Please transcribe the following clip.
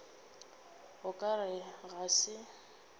o ka re ga se